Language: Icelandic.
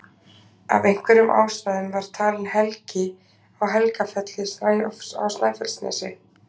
Af einhverjum ástæðum var talin helgi á Helgafelli á Snæfellsnesi.